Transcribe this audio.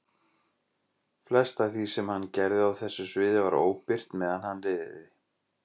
Flest af því sem hann gerði á þessu sviði var óbirt meðan hann lifði.